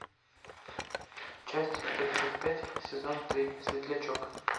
часть тридцать пять сезон три светлячок